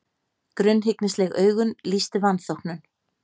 Grunnhyggnisleg augun lýstu vanþóknun.